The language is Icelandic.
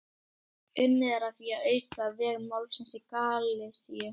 Unnið er að því að auka veg málsins í Galisíu.